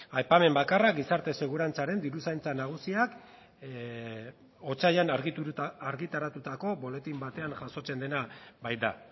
aipamen bakarra gizarte segurantzaren diruzaintza nagusiak otsailean argitaratutako buletin batean jasotzen dena baita